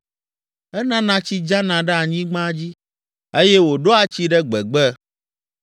Enana tsi dzana ɖe anyigba dzi, eye wòɖoa tsi ɖe gbegbe.